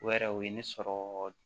O yɛrɛ o ye ne sɔrɔ